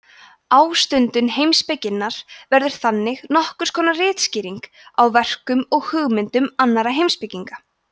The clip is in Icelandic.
ástundun heimspekinnar verður þannig nokkurs konar ritskýring á verkum og hugmyndum annarra heimspekinga